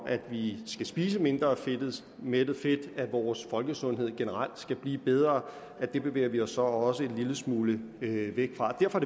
at vi skal spise mindre mættet fedt at vores folkesundhed generelt skal blive bedre det bevæger vi os så også en lille smule væk fra derfor